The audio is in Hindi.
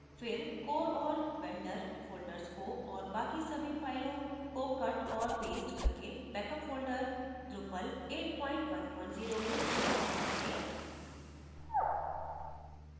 फिर core और vendor folders को और बाकि सभी फाइलों को cut औऱ past करके बेकअप folders drupal810 में स्थानांतरित करें